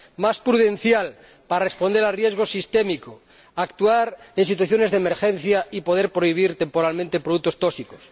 más prudencial, para responder al riesgo sistémico, actuar en situaciones de emergencia y poder prohibir temporalmente productos tóxicos